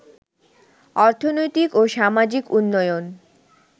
অর্থনৈতিক ও সামাজিক উন্নয়ন